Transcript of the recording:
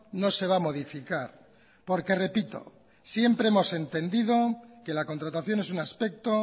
no se va a modificar porque repito siempre hemos entendido que la contratación es un aspecto